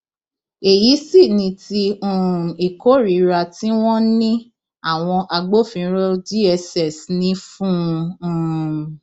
èyí sì ni ti um ìkórìíra tí wọn ní àwọn agbófinró dss ní fún un um